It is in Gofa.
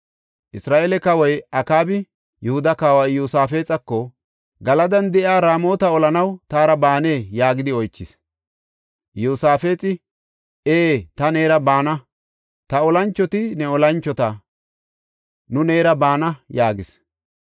Isra7eele kawoy Akaabi Yihuda kawa Iyosaafexako, “Galadan de7iya Raamota olanaw taara baanee?” yaagidi oychis. Iyosaafexi, “Ee, ta neera baana; ta olanchoti ne olanchota; nu neera baana” yaagis.